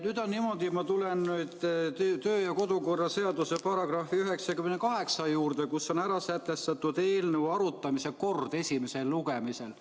Nüüd on niimoodi, et ma tulen kodu- ja töökorra seaduse § 98 juurde, kus on sätestatud eelnõu arutamise kord esimesel lugemisel.